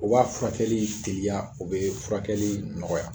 O b'a furakɛli tiliya o be furakɛli nɔgɔya